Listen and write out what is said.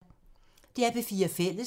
DR P4 Fælles